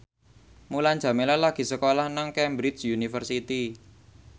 Mulan Jameela lagi sekolah nang Cambridge University